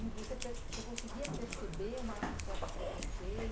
E você per você conseguia perceber uma um certo